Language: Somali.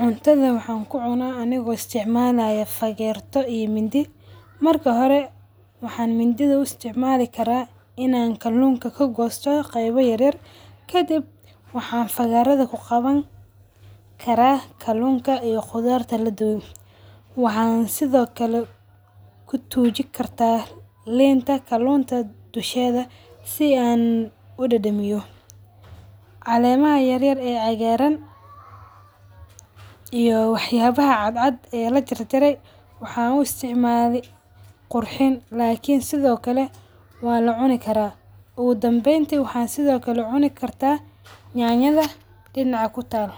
Cuntadha waxa ku cunaa anigo isticmalayo fageerto iyo mindi. Marki hore waxa mindidha u isticmali karaa inan kalunka ka goosto qayb yaar yar kadib waxa fagaradha ku qawan karaa kalunka iyo qudharta laduwe. Waxa sidhokale kutujin kartaa linta kalunta dusheeda si aan u dadamiyo. Caleemaha yaryar ee cagaran iyo waxyabah cadcad ee lajar jare waxa u isticmali qurxin lakiin sidho kale wala cuni kara. Ogudanbeen waxa sidho kale cuni kartaa nyanya dha dinaac kutal.